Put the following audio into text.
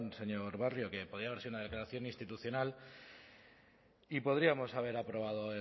señor barrio que podía haber sido una declaración institucional y podríamos haber aprobado